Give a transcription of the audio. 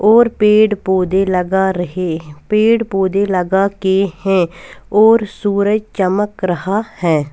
और पेड़ पौधे लगा रहे पेड़ पौधे लगा के हैं और सूरज चमक रहा है।